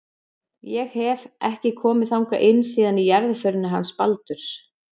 Ég hef. ekki komið þangað inn síðan í jarðarförinni hans Baldurs.